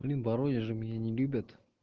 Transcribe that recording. блин в воронеже меня не любят